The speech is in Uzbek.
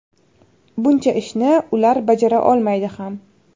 Buncha ishni ular bajara olmaydi ham.